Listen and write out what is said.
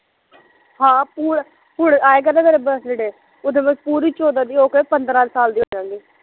ਹਾਂ ਪੁ ਪੂਰਾ ਆਏਗਾ ਨਾ ਮੇਰਾ ਬਰਥਡੇ ਉਦੋਂ ਮੈਂ ਪੂਰੀ ਚੋਂਦਾ ਦੀ ਹੋਕੇ ਪੰਦਰਾਂ ਸਾਲ ਦੀ ਹੋਜਾਂਗੀ